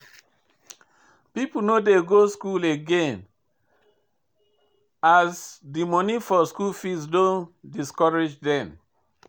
People no dey go school again as de monie for school fees don discourage them.